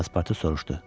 Passportu soruşdu: